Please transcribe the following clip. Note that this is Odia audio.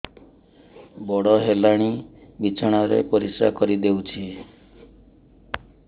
ବଡ଼ ହେଲାଣି ବିଛଣା ରେ ପରିସ୍ରା କରିଦେଉଛି